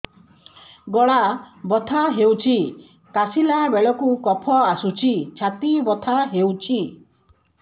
ଗଳା ବଥା ହେଊଛି କାଶିଲା ବେଳକୁ କଫ ଆସୁଛି ଛାତି ବଥା ହେଉଛି